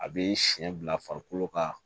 A bɛ siɲɛ bila farikolo kan